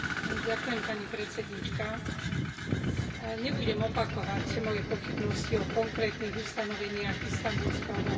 Pani predsedajúca, nebudem opakovať moje pochybnosti o konkrétnych ustanoveniach Istanbulského dohovoru.